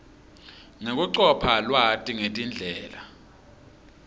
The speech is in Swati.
nekucopha lwati ngetindlela